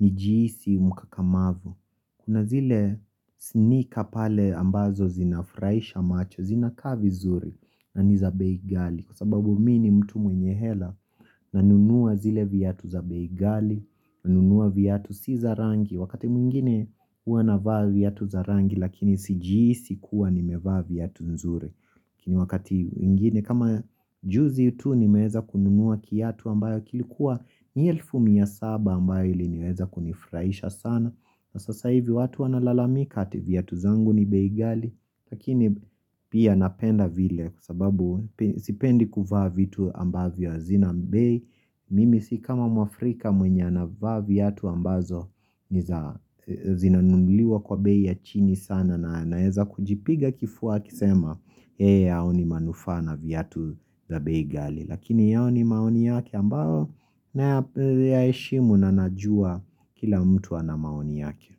ni jihisi mkakamavu. Kuna zile snika pale ambazo zinafurahisha macho zinakaa vizuri naniza bei ghali. Kwa sababu mimi ni mtu mwenye hela nanunua zile viatu za bei ghali na nunua viatu si za rangi. Wakati mwingine huwa navaa viatu za rangi lakini sijihisi kuwa nimevaa viatu nzuri ni wakati mwingine kama juzi tu nimeweza kununua kiatu ambacho kilikuwa ni elfu mia saba ambayo iliweza kunifurahisha sana sasa hivi watu wanalalamika ati viatu zangu ni bei ghali lakini pia napenda vile kwa sababu sipendi kuvaa vitu ambavyo havina bei Mimi si kama mwafrika mwenye anavaa viatu ambazo zinanunuliwa kwa bei ya chini sana na naeza kujipiga kifua wakisema yeye haoni manufaa na viatu za bei ghali Lakini hayo ni maoni yake ambayo naya heshimu na najua kila mtu ana maoni yake.